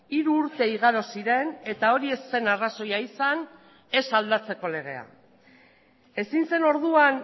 hiru urte igaro ziren eta hori ez zen arrazoia izan ez aldatzeko legea ezin zen orduan